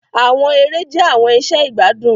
Àwọn èrè jẹ̀ àwọn ìṣẹ̀ igbadun.